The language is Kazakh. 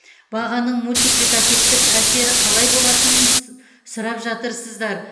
бағаның мультипликативтік әсері қалай болатынын сс сұрап жатырсыздар